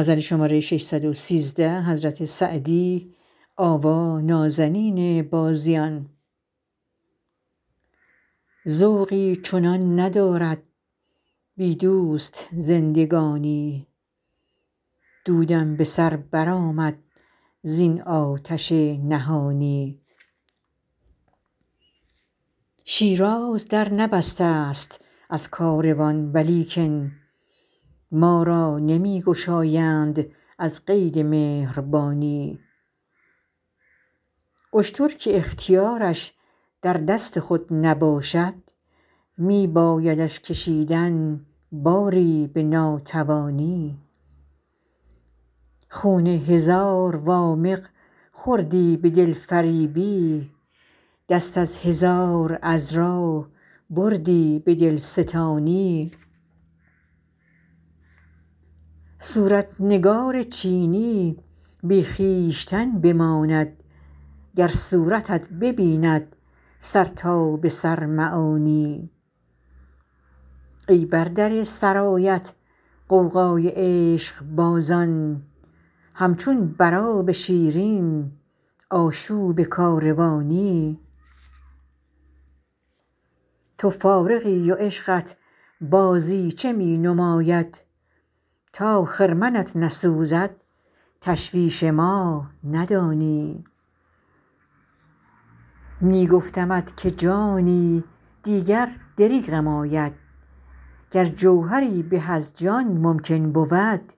ذوقی چنان ندارد بی دوست زندگانی دودم به سر برآمد زین آتش نهانی شیراز در نبسته ست از کاروان ولیکن ما را نمی گشایند از قید مهربانی اشتر که اختیارش در دست خود نباشد می بایدش کشیدن باری به ناتوانی خون هزار وامق خوردی به دلفریبی دست از هزار عذرا بردی به دلستانی صورت نگار چینی بی خویشتن بماند گر صورتت ببیند سر تا به سر معانی ای بر در سرایت غوغای عشقبازان همچون بر آب شیرین آشوب کاروانی تو فارغی و عشقت بازیچه می نماید تا خرمنت نسوزد تشویش ما ندانی می گفتمت که جانی دیگر دریغم آید گر جوهری به از جان ممکن بود